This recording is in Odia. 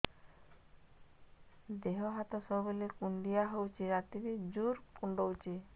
ଦେହ ହାତ ସବୁବେଳେ କୁଣ୍ଡିଆ ହଉଚି ରାତିରେ ଜୁର୍ କୁଣ୍ଡଉଚି